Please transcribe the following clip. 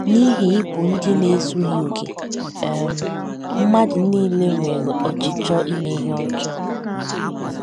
N’ihi ịbụ ndị na - ezughị okè, um mmadụ nile nwere ọchịchọ ime ihe ọjọọ.